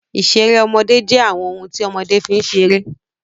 Ìṣeré ọmọdé jẹ́ àwọn ohun tí ọmọdé fi ń ṣeré.